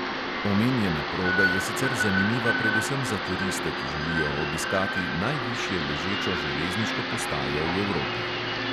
Omenjena proga je sicer zanimiva predvsem za turiste, ki želijo obiskati najvišje ležečo železniško postajo v evropi.